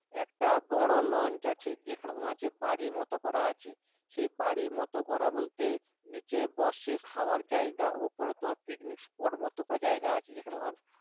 একটা বড় launch আছে যেখানে তোমার হচ্ছে বাড়ির মত করা আছে সেই বাড়ির মতো করা বলতে নিচে বসে খাওয়ার জায়গা ওপরে তোমার পিকনিক spot মত করা জায়গা আছে যেখানে তোমার